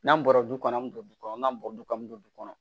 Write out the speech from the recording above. N'an bɔra du kɔnɔ an bɛ don du kɔnɔ n'an bɔra du kɔnɔ an bɛ don du kɔnɔ